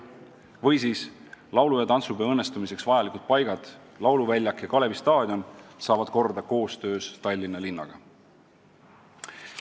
Näiteks võib tuua ka laulu- ja tantsupeo õnnestumiseks vajalikud paigad: lauluväljak ja Kalevi staadion saavad korda koostöös Tallinna linnaga.